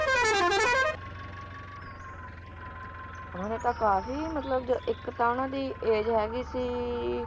ਉਨ੍ਹਾਂ ਨੇ ਤਾਂ ਕਾਫੀ ਮਤਲਬ ਇੱਕ ਤਾਂ ਉਨ੍ਹਾਂ ਦੀ age ਹੈਗੀ ਸੀ